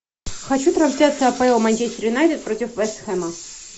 хочу трансляцию апл манчестер юнайтед против вест хэма